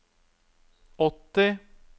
åtti